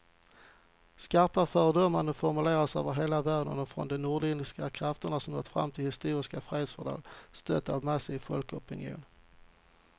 Skarpa fördömanden formuleras över hela världen och från de nordirländska krafter som nått fram till ett historiskt fredsfördrag, stött av en massiv folkopinion.